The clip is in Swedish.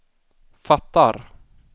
fattar